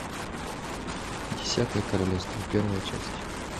десятое королевство первая часть